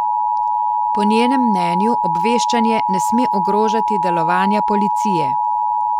Po njenem mnenju obveščanje ne sme ogrožati delovanja policije.